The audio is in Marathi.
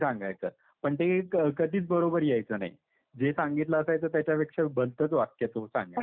पण ते एक कधीच बरोबर यायचं नाही. जे सांगितलं असायचं त्याच्या पेक्षा भलतंच वाक्य तो सांगायचा.